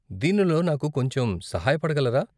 దీనిలో నాకు కొంచెం సహాయపడగలరా?